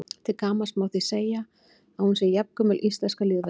Til gamans má því segja að hún sé jafngömul íslenska lýðveldinu.